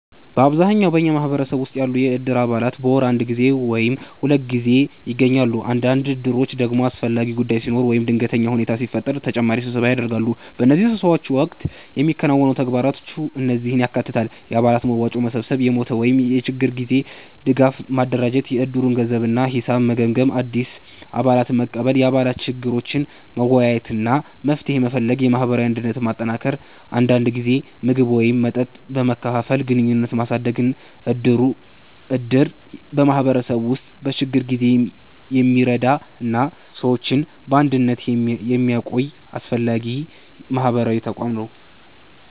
በአብዛኛው በኛ ማህበረሰብ ውስጥ ያሉ የእድር አባላት በወር አንድ ጊዜ ወይም ሁለት ጊዜ ይገናኛሉ። አንዳንድ እድሮች ደግሞ አስፈላጊ ጉዳይ ሲኖር ወይም ድንገተኛ ሁኔታ ሲፈጠር ተጨማሪ ስብሰባ ያደርጋሉ። በእነዚህ ስብሰባዎች ወቅት የሚከናወኑ ተግባራት እነዚህን ያካትታሉ፦ የአባላት መዋጮ መሰብሰብ የሞት ወይም የችግር ጊዜ ድጋፍ ማደራጀት የእድሩን ገንዘብ እና ሂሳብ መገምገም አዲስ አባላትን መቀበል የአባላት ችግሮችን መወያየት እና መፍትሄ መፈለግ የማህበራዊ አንድነትን ማጠናከር አንዳንድ ጊዜ ምግብ ወይም መጠጥ በመካፈል ግንኙነትን ማሳደግ እድር በማህበረሰቡ ውስጥ በችግር ጊዜ የሚረዳ እና ሰዎችን በአንድነት የሚያቆይ አስፈላጊ ማህበራዊ ተቋም ነው።